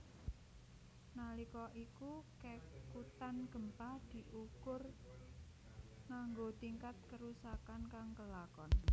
Nalika iku kekutan gempa diukur nganggo tingkat kerusakan kang kelakon